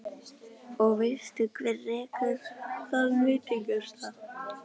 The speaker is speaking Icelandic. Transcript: Og veistu hver rekur þann veitingastað?